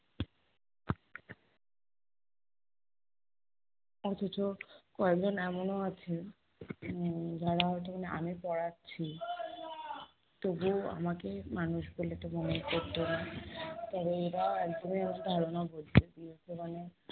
অথচ কয়েকজন এমনও আছে, উম যারা হয়তো মানে আমি পড়াচ্ছি তবুও আমাকে মানুষ বলে তো মনেই করতো না , তবে এরা একদমই আমার ধারণা বদলে দিয়েছে, মানে